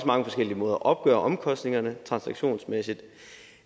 mange forskellige måder at opgøre omkostningerne transaktionsmæssigt